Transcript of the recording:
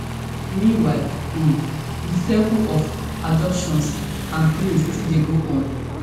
meanwhile um di cycle of abductions and killings still dey go on